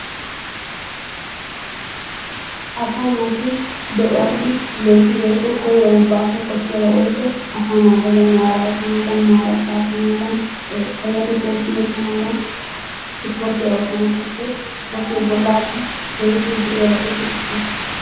Asaa naatu de'uwassi loyttidi woykko koyro baaso koshshiyaba woykko asa naaya bollay maara oottanadan maara qaaxanadan payattetay siyettanadan isporttiya oottana koshshes, isipportte bollassi keehippe go'iyaabatuppe issuwa.